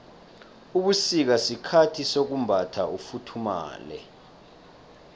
ubusika sikhathi sokumbatha ufuthumale